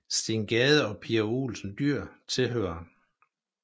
Steen Gade og Pia Olsen Dyhr tilhører